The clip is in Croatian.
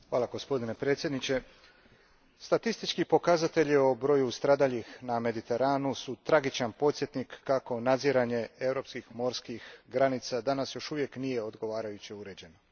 Gospodine predsjedniče, statistički pokazatelji o broju stradalih na Mediteranu su tragičan podsjetnik kako nadziranje europskih morskih granica danas još uvijek nije odgovarajuće uređeno.